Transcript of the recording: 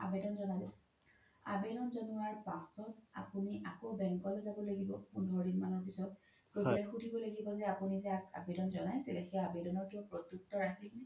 আবেদ্ন জ্নালে আবেদ্ন জ্নোৱাৰ পাছত আপোনি আকৌ bank লে যাব লাগিব পোন্ধৰ দিন মানৰ পিছ্ত গৈ পেলাই সুধিব লাগিব যে আপোনি যে আবেদ্ন জ্নাইছিলে সেই আবেদ্নৰ কিবা প্ৰত্তুক্ত আহিল নে